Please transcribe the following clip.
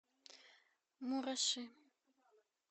мураши